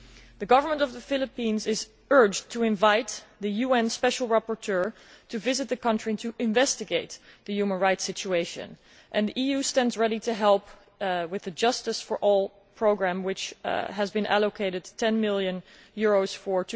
The government of the Philippines is urged to invite the UN Special Rapporteur to visit the country to investigate the human rights situation, and the EU stands ready to help with the Justice For All programme, which has been allocated EUR 10 million for